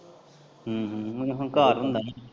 ਹੂੰ ਹੂੰ ਏਹ ਹੰਕਾਰ ਹੁੰਦਾ ਵਾ।